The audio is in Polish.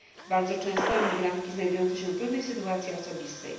bardzo często imigrantki znajdujące się w trudnej sytuacji osobistej.